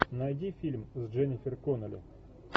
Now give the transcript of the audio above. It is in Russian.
найди фильм с дженнифер коннелли